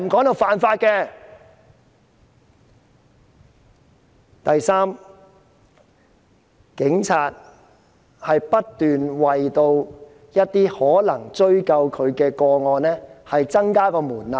第三，警方不斷就可能追究警方的個案提高門檻。